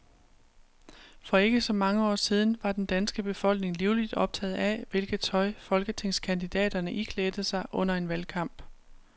For ikke så mange år siden var den danske befolkning livligt optaget af, hvilket tøj folketingskandidaterne iklædte sig under en valgkamp.